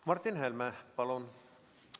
Martin Helme, palun!